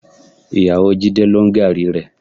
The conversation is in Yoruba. Ìyàwó Jídé ló ń gààrí rẹ.